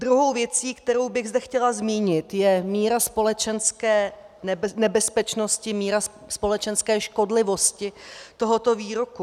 Druhou věcí, kterou bych zde chtěla zmínit, je míra společenské nebezpečnosti, míra společenské škodlivosti tohoto výroku.